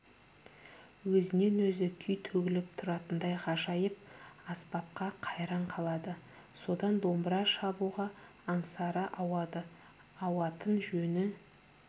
өзінен-өзі күй төгіліп тұратындай ғажап аспапқа қайран қалады содан домбыра шабуға аңсары ауады ауатын жөні